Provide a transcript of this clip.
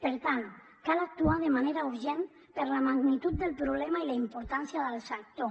per tant cal actuar de manera urgent per la magnitud del problema i la importància del sector